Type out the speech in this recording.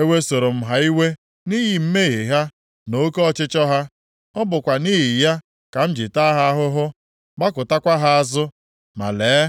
Ewesoro m ha iwe nʼihi mmehie ha na oke ọchịchọ ha. Ọ bụkwa nʼihi ya ka m ji taa ha ahụhụ, gbakụtakwa ha azụ. Ma lee,